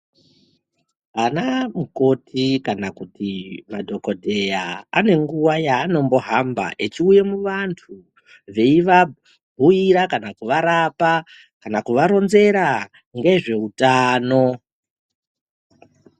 Ana mukoti kana kuti madhokodheya ane nguva yaanombohamba echiuya muantu veivabhuira kana kuvarapa kana kuvaronzera ngezveutano .